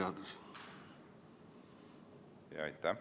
Aitäh!